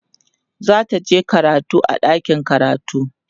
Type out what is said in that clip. zataje karatu a ɗakin karatu